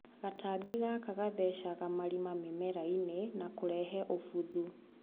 Gatambi gaka gathecaga marima mĩmerainĩ nakũrehe ũbuthu.